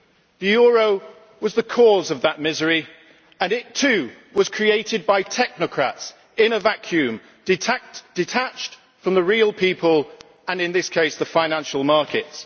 The euro was the cause of that misery, and it too was created by technocrats in a vacuum detached from the real people and, in this case, the financial markets.